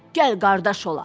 Gəl qardaş olaq.